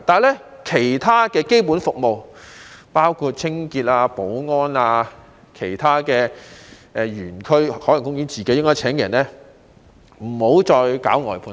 可是，其他基本服務，包括清潔和保安，應該由海洋公園自己聘請員工，不應外判。